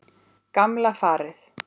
Gamla farið.